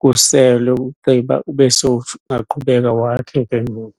kuselwe, ugqiba ube sowungaqhubeka wakhe ke ngoku.